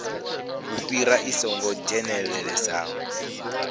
u fhirisa i songo dzhenelelesaho